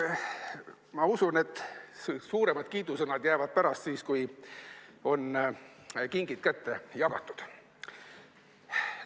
Ma usun, et suuremad kiidusõnad jäävad pärastiseks, kui kingid on kätte jagatud.